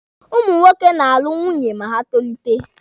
Ụmụ nwoke na-alụ nwunye ma ha tolite.